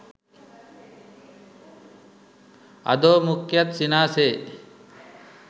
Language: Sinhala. අධෝ මුඛයත් සිනාසේ